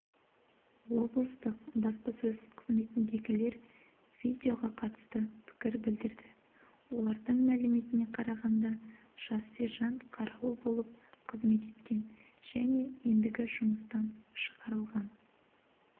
облыстық баспасөз қызметіндегілер видеоға қатысты пікір білдірді олардың мәліметіне қарағанда жас сержант қарауыл болып қызмет еткен және ендігі жұмыстан шығарылған